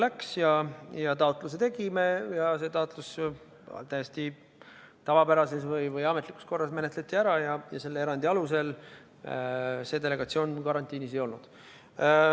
Tegime taotluse ja see taotlus sai täiesti tavapärases või ametlikus korras menetletud ning just selle erandi alusel see delegatsioon karantiinis ei olnud.